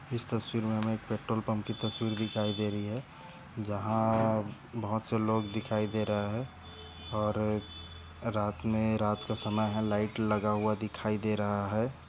इस तस्वीर में हमे एक पेट्रोल पम्प की तस्वीर दिखाई दे रही है। जहा अ बहुत से लोग दिखाई दे रहे है और रात में रात का समय है। लाइट लगा हुआ दिखाई दे रहा है।